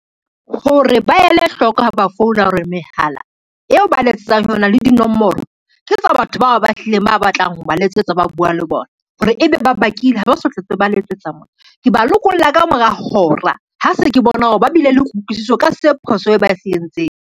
Hore ba ele hloko ha ba founa hore mehala eo ba letsetsang ho yona le dinomoro, ke tsa batho bao ba hlileng ba batlang ho ba letsetsa, ba bua le bona, hore ebe ba bakile ha ba sa hlotse ba letsetsa mona. Ke ba lokolla ka mora hora, ha se ke bona hore ba bile le kutlwisiso ka se phoso e ba e se entseng.